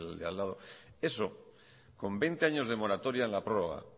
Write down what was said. de al lado eso con veinte años de moratoria en el prórroga